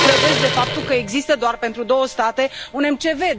Ce credeți de faptul că există doar pentru două state un MCV?